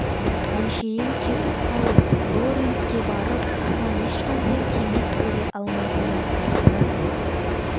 әншейін кетіп қалып лоренске барып оған ешқандай кеңес бере алмайтынын айтса